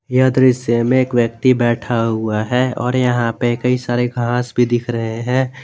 यह दृश्य में एक व्यक्ति बैठा हुआ है और यहां पे कई सारे घास भी दिख रहे हैं।